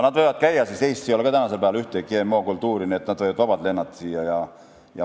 Nad võivad käia, sest Eestis ei ole tänasel päeval ühtegi GM-kultuuri, nii et nad võivad vabalt siia lennata.